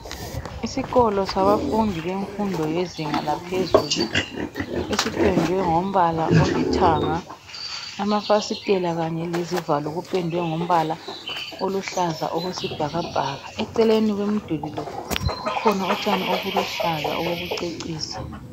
Isikolo sabafundi bemfundo yezinga laphezulu esipendwe ngombala olithanga amafasiteli kanye lezivalo kupendwe ngombala oluhlaza okwe sibhakabhaka. Eceleni komduli lo kukhona utshani obuluhlaza obokucecisa.